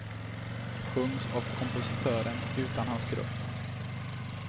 Sjungs av kompositören utan hans grupp.